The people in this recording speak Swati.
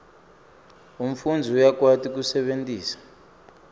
umfundzi uyakwati kusebentisa